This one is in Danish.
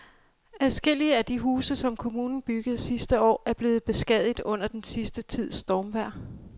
Adskillige af de huse, som kommunen byggede sidste år, er blevet beskadiget under den sidste tids stormvejr.